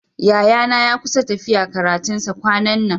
Yayana ya kusa tafiya karatun sa kwanan nan.